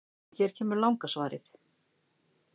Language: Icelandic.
Hér kemur langa svarið: